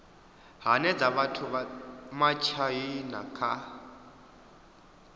hanedza vhathu vha matshaina kha